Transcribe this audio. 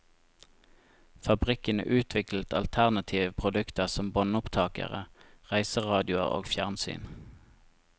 Fabrikkene utviklet alternative produkter som båndopptakere, reiseradioer og fjernsyn.